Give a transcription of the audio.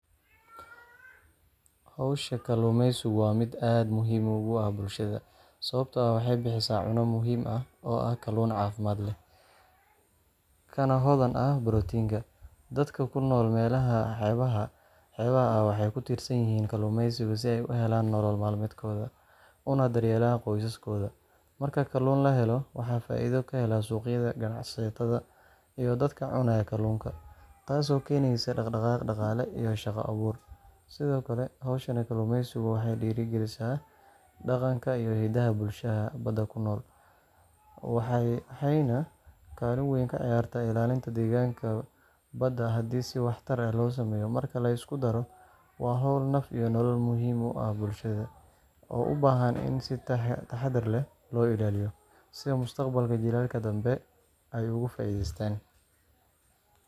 Hawsha kalluumaysigu waa mid aad muhiim ugu ah bulshada, sababtoo ah waxay bixisaa cunno muhiim ah oo ah kalluun caafimaad leh, kana hodan ah borotiinka. Dadka ku nool meelaha xeebaha ah waxay ku tiirsan yihiin kalluumaysiga si ay u helaan nolol maalmeedkooda, una daryeelaan qoysaskooda. Marka kalluun la helo, waxaa faa’iido ka hela suuqyada, ganacsatada, iyo dadka cunaya kalluunka, taasoo keenaysa dhaqdhaqaaq dhaqaale iyo shaqo abuur. Sidoo kale, hawshan kalluumaysigu waxay dhiirrigelisaa dhaqanka iyo hidaha bulshooyinka badda la nool, waxayna kaalin weyn ka ciyaartaa ilaalinta deegaanka badda haddii si waxtar leh loo sameeyo. Marka la isku daro, waa hawl naf iyo nolol muhiim u ah bulshada, oo u baahan in si taxaddar leh loo ilaaliyo si mustaqbalka jiilalka dambe ay uga faa’iidaystaan